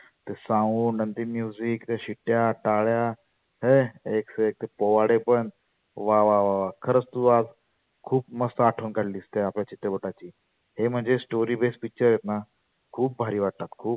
ते sound ते music ते शिट्ट्या, टाळ्या हे एकसे एक पोवाडे पण वा वा वा खरच तु आज खुप मस्त आठवन काढली त्या आपल्या चित्रपटाची. हे म्हणजे story based picture आहे. खुप भारी वाटलं.